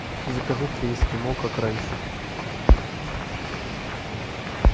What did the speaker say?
закажи три эскимо как раньше